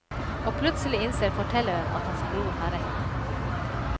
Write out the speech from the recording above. Og plutselig innser fortelleren at hans bror har rett.